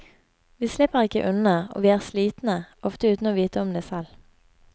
Vi slipper ikke unna, og vi er slitne ofte uten å vite om det selv.